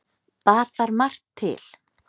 bar þar margt til